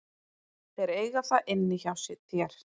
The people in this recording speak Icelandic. Þeir eiga það inni hjá þér.